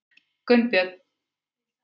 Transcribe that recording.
Gunnbjörn